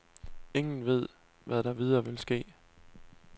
Ingen ved, hvad der videre vil ske.